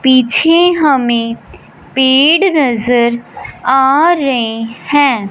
पीछे हमें पेड़ नजर आ रहे हैं।